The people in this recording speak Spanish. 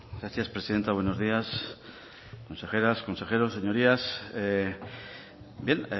gracias presidenta buenos días consejeras consejeros señorías bien